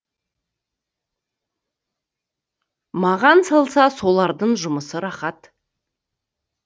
маған салса солардың жұмысы рахат